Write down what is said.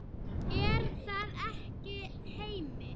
Er það ekki Heimir?